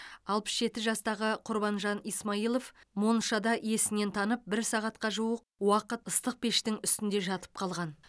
алпыс жеті жастағы құрбанжан исмаилов моншада есінен танып бір сағатқа жуық уақыт ыстық пештің үстінде жатып қалған